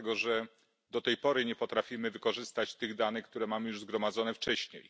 Dlatego że do tej pory nie potrafimy wykorzystać tych danych, które mamy już zgromadzone wcześniej.